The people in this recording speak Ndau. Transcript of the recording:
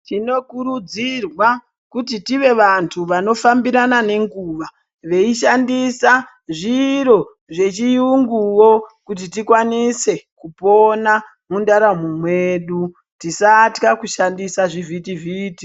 Tinokurudzirwa kuti tive vantu vanofambirana nenguva, veyi shandisa zviro zvechiyunguwo kuti tikwanise kupona mundaramo mwedu, tisatya kushandisa zvivhiti-vhiti.